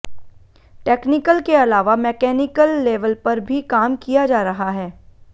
technical के अलावा mechanical level पर भी काम किया जा रहा है